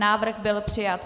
Návrh byl přijat.